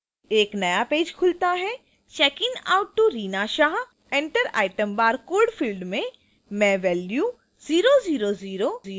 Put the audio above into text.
एक नया पेज खुलता है checking out to reena shah 3 enter item barcode: field में